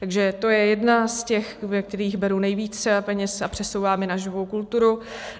Takže to je jedna z těch, ze kterých beru nejvíce peněz a přesouvám je na živou kulturu.